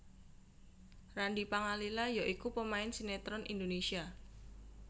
Randy Pangalila ya iku pemain sinetron Indonesia